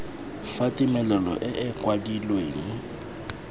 fa tumelelo e e kwadilweng